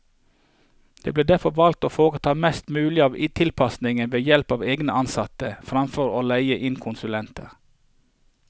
Det ble derfor valgt å foreta mest mulig av tilpasninger ved help av egne ansatte, fremfor å leie inn konsulenter.